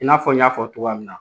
I n'a fɔ n y'a fɔ cogoya min na.